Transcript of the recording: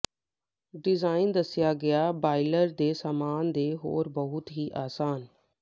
design ਦੱਸਿਆ ਗਿਆ boiler ਦੇ ਸਾਮਾਨ ਦੇ ਹੋਰ ਬਹੁਤ ਹੀ ਆਸਾਨ